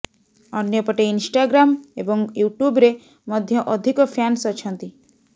ଅନ୍ୟପଟେ ଇନଷ୍ଟାଗ୍ରାମ ଏବଂ ୟୁଟ୍ୟୁବ୍ ରେ ମଧ୍ୟ ଅଧିକ ଫ୍ୟାନ୍ସ ଅଛନ୍ତି